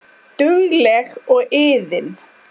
Dugleg og iðin.